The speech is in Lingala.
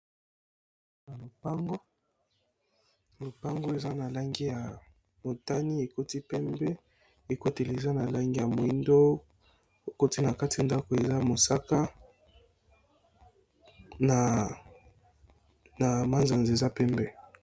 Na lopango eza na langi ya motani ekoti pembe ekoteli eza na langi ya moindo ekoti na kati ndako eza mosaka na manzanzs eza pembe.